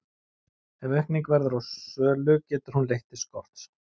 ef aukning verður á sölu getur hún leitt til skorts